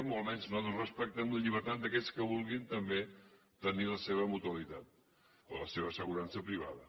o almenys nosaltres respectem la llibertat d’aquells que vulguin també tenir la seva mutualitat o la seva assegurança privada